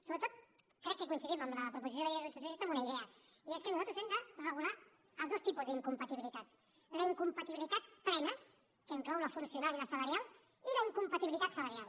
sobretot crec que coincidim amb la proposició de llei del grup socialista en una idea i és que nosaltres hem de regular els dos tipus d’incompatibilitats la incompatibilitat plena que inclou la funcional i la salarial i la incompatibilitat salarial